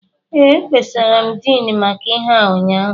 Ee, ekpesara m Din maka ihe a ụnyaahụ